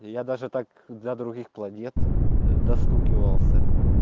я даже так для других планет достукивался